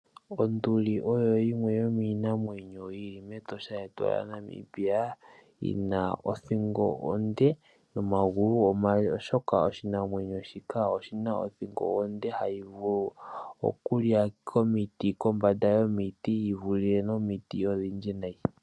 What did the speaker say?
Onduli oyo yimwe yo miinamwenyo to lili mEtosha, yetu yaNamibia, yi na othingo onde, nomagulu omale, oshoka oshinamwenyo shika , oshi na othingo onde ha yi vulu oku lya komiti, kombanda yomiti, yi vule nomiti odhindji nayi.